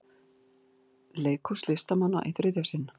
Leikhús listamanna í þriðja sinn